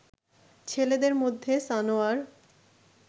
ছেলেদের মধ্যে সানোয়ার